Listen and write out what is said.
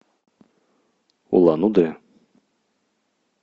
улан удэ